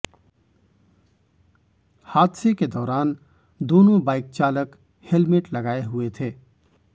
हादसे के दौरान दोनों बाइक चालक हेलमेट लगाए हुए थे